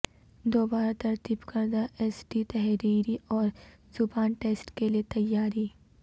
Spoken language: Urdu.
دوبارہ ترتیب کردہ ایس ٹی تحریری اور زبان ٹیسٹ کے لئے تیاری